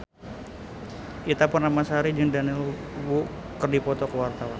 Ita Purnamasari jeung Daniel Wu keur dipoto ku wartawan